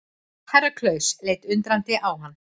Herra Klaus leit undrandi á hann.